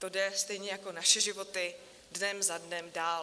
To jde stejně jako naše životy dnem za dnem dál.